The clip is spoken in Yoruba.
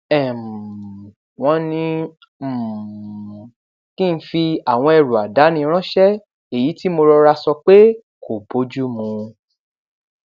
um wón ní um kí n fi àwọn ẹrù àdáni ránṣé èyí tí mo rọra sọ pé kò bójú mu